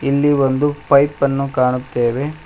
ಇಲ್ಲಿ ಒಂದು ಪೈಪ್ ಅನ್ನು ಕಾಣುತ್ತೇವೆ.